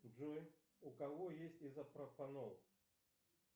джой у кого есть изопропанол